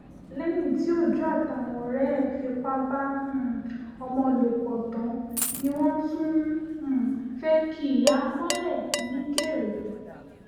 lẹ́yìn tí òj́ó àtàwọn ọ̀rẹ́ ẹ̀ fipá bá um ọmọ lò pọ̀ tán ni wọ́n tún um fẹ́ẹ́ ki ìyá mọ́lẹ̀ nìkéré